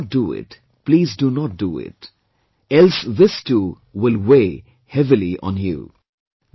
If you cannot do it, please do not do it, else this too will weigh heavily on you